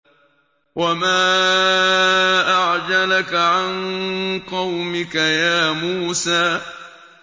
۞ وَمَا أَعْجَلَكَ عَن قَوْمِكَ يَا مُوسَىٰ